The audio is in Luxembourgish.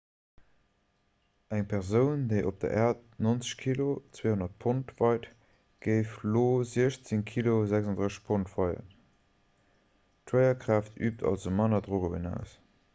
eng persoun déi op der äerd 90 kg 200 pond weit géif op io 16 kg 36 pond weien. d'schwéierkraaft üübt also manner drock op een aus